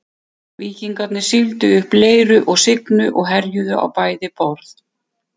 Víkingar sigldu upp Leiru og Signu og herjuðu á bæði borð.